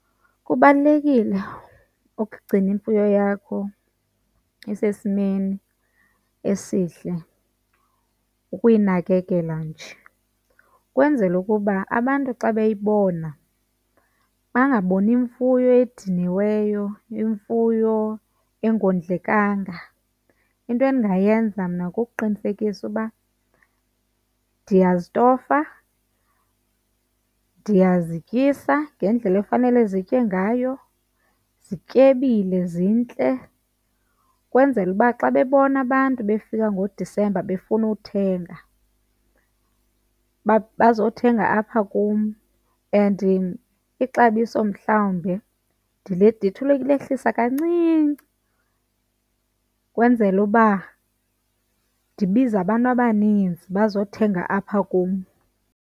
Kubalulekile ukugcina imfuyo yakho isesimeni esihle, ukuyinakekela nje ukwenzela ukuba abantu xa beyibona bangaboni imfuyo ediniweyo, imfuyo engondlekanga. Into endingayenza mna kukuqinisekisa uba ndiyazitofa, ndiyazityisa ngendlela efanele zitye ngayo, zityebile zintle ukwenzela uba xa bebona abantu befika ngoDisemba befuna uthenga bazothenga apha kum. And ixabiso mhlawumbe ndithi ulehlisa kancinci ukwenzela uba ndibize abantu abaninzi bazothenga apha kum.